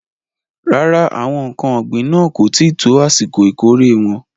Rárá, àwọn ǹkan ògbìn náà kò tí ì tó àsìkò ìkórè wọn.